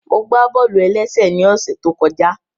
Mo gbá bọ́ọ̀lù-ẹlẹ́sẹ̀ ní ọ̀ṣẹ̀ tó kọjá